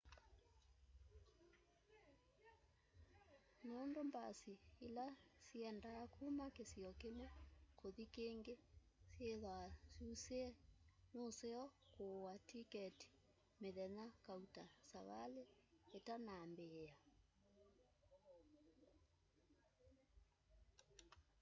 nûndû mbasi îla syiendaa kuma kisio kimwe kuthi kîngî syîthwaa syusîe nuseo kûûa tiketi mithenya kauta savali îtanaambîîa